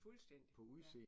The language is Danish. Fuldstændig, ja